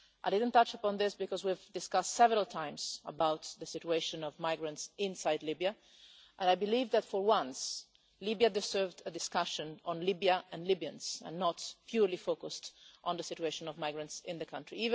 I didn't touch upon this because we have discussed several times the situation of migrants inside Libya, and I believe that for once Libya deserved a discussion on Libya and Libyans, and not purely focused on the situation of migrants in the country.